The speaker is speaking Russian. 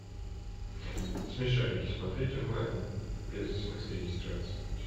смешарики смотреть онлайн без смс и регистрации